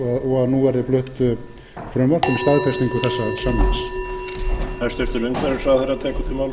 og að nú verði flutt frumvarp um staðfestingu þessa samnings